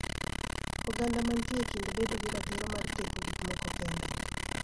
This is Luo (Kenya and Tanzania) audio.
Oganda mantie e kind bedo gi ratiro mar timo gik moko kende